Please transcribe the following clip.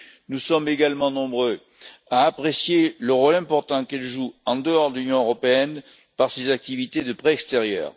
Nous sommes également nombreux à apprécier le rôle important qu'elle joue en dehors de l'Union européenne par ses activités de prêt extérieur.